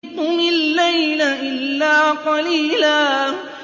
قُمِ اللَّيْلَ إِلَّا قَلِيلًا